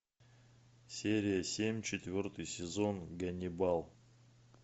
серия семь четвертый сезон ганнибал